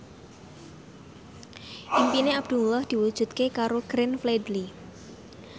impine Abdullah diwujudke karo Glenn Fredly